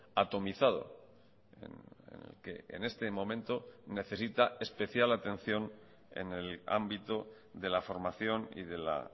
atomizado que en este momento necesita especial atención en el ámbito de la formación y de la